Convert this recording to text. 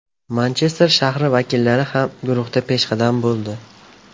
Manchester shahri vakillari ham guruhda peshqadam bo‘ldi.